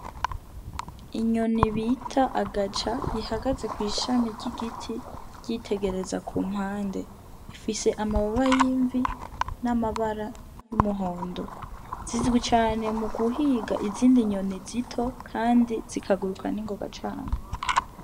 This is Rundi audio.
Inyoni bita agaca ihagaze kw'ishami ry'igiti ryitegereza ku mpande ifise amababa y'imvi n'amabara y'umuhondo zizwi cane mu guhiga izindi nyoni zito, kandi zikaguruka n'ingoga cane.